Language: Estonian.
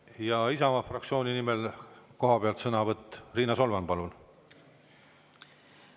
Ja Isamaa fraktsiooni nimel sõnavõtt kohapealt, Riina Solman, palun!